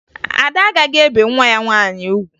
Ada agaghị ebe nwa ya nwaanyị ugwu